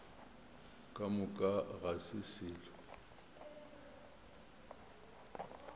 ka moka ga se selo